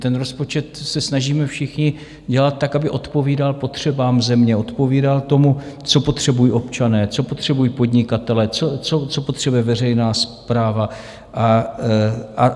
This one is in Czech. Ten rozpočet se snažíme všichni dělat tak, aby odpovídal potřebám země, odpovídal tomu, co potřebují občané, co potřebují podnikatelé, co potřebuje veřejná správa.